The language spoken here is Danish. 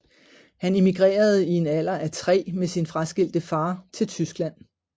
Han emigrerede i en alder af tre med sin fraskilte far til Tyskland